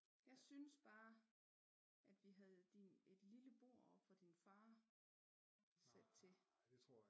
Jeg synes bare at vi havde din et lille bord op fra din far sat til